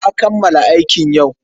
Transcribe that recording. Na kammala aikin yau.